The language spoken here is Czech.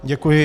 Děkuji.